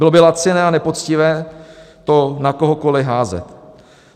Bylo by laciné a nepoctivé to na kohokoliv házet.